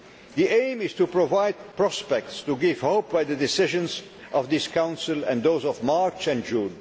The aim is to provide prospects, to offer hope through the decisions of this Council and those of March and June.